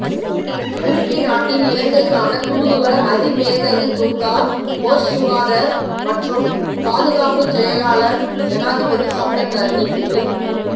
துருக்கி நாட்டின் இலங்கைக்கான தூதுவர் அதிமேதகு துங்கா ஒஸ்சுஹாதர் மற்றும் பாதுகாப்பு செயலாளர் ஜனாதிபதி சட்டத்தரணி திரு